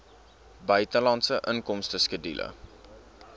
buitelandse inkomste skedule